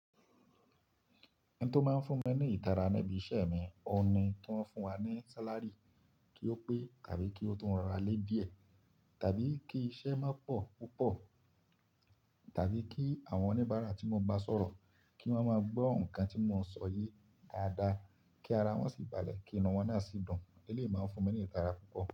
Ẹn tó máa ń fún mi ní ìtara ni ẹbí ìṣe mi, ọun ki woń fún wa ní sálárì kí ó pé tàbí kí ó tun rọra lé díẹ̀, tàbí kí iṣẹ́ má pọ̀ púpọ̀, tàbí kí àwọn oníbàárà tí mo bá sọ̀rọ̀ kí wọ́n máa gbọ́ ohùn kan tí mò ń sọ ye dáadáa, kí ara wọ́n sì balẹ̀ kí inú wọn náà sì dùn. Eléyìí máa ń fún mi ní ìtara púpọ̀